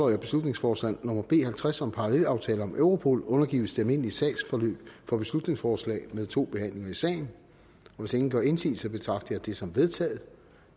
jeg at beslutningsforslag nummer b en hundrede og halvtreds om parallelaftale om europol undergives det almindelige sagsforløb for beslutningsforslag med to behandlinger i salen hvis ingen gør indsigelse betragter jeg det som vedtaget